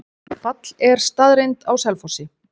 Fall er staðreynd á Selfossi.